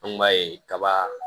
An kun b'a ye kaba